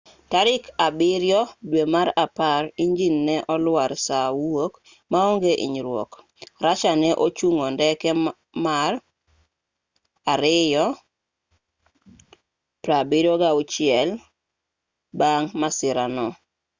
tarik 7 dwe mar apar injin ne olwar saa wuok maonge inyruok russia ne ochngo ndege mar ii-76s bang' masirano